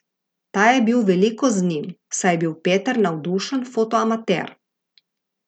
Ta je bil veliko z njim, saj je bil Peter navdušen fotoamater.